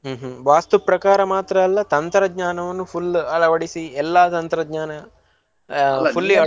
ಹ್ಮ್‌ ಹ್ಮ್‌ ವಾಸ್ತುಪ್ರಕಾರ ಮಾತ್ರ ಅಲ್ಲ ತಂತ್ರಜ್ಞಾನವನ್ನು ಅಳವಡಿಸಿ ಎಲ್ಲಾ ತಂತ್ರಜ್ಞಾನ ಆಹ್ fully .